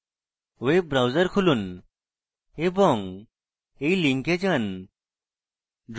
web browser খুলুন এবং